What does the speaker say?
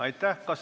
Aitäh!